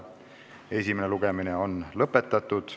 Esimene lugemine on lõpetatud.